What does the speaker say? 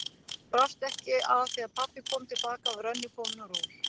Brást ekki að þegar pabbi kom til baka var önnur komin á ról.